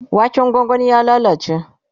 waken gwangwanin ya lallace